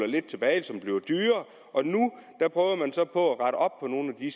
lidt tilbage og som bliver dyrere og nu prøver man så på at rette op på nogle af de